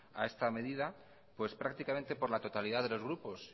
a esta medida pues prácticamente por la totalidad de los grupos